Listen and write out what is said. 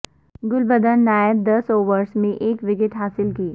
گلبدین نائب دس اوورز میں ایک وکٹ حاصل کی